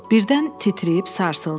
Birdən titrəyib sarsıldı.